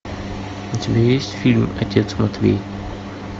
у тебя есть фильм отец матвей